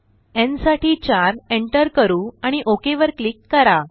न् साठी 4 एंटर करू आणि ओक वर क्लिक करा